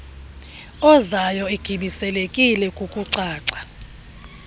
ozayo egibiselekile kukucaca